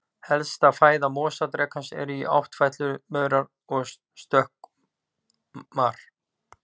Helsta fæða mosadrekans eru áttfætlumaurar og stökkmor.